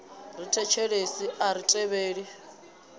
ri thetshelesi a ri tevheli